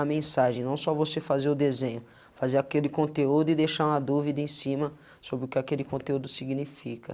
a mensagem, não só você fazer o desenho, fazer aquele conteúdo e deixar uma dúvida em cima sobre o que aquele conteúdo significa.